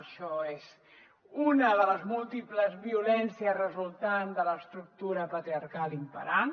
això és una de les múltiples violències resultants de l’estructura patriarcal imperant